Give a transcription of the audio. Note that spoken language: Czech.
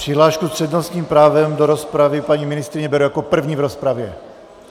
Přihlášku s přednostním právem do rozpravy, paní ministryně, beru jako první v rozpravě.